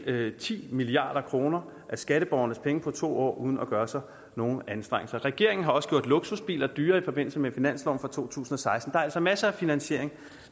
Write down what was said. ti milliard kroner af skatteborgernes penge på to år uden at gøre sig nogen anstrengelser regeringen har også gjort luksusbiler dyrere i forbindelse med finansloven for to tusind og seksten der er altså masser af finansiering